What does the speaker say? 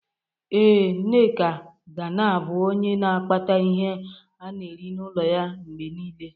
Ee, Nneka ga na-abụ onye na akpata ihe ana-eri n'ụlọ ya mgbe niile.